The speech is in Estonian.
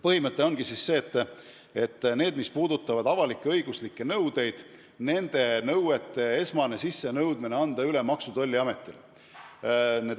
Põhimõte ongi see, et avalik-õiguslike nõuete esmane sissenõudmine tuleb anda üle Maksu- ja Tolliametile.